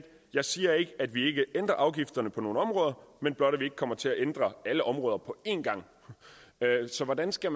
jeg siger ikke at vi ikke ændrer afgifterne på nogle områder men blot at vi ikke kommer til at ændre alle områder på én gang så hvordan skal